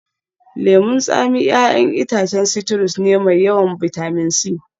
Lemun tsami 'ya'yan itacen citrus ne mai yawan bitamin C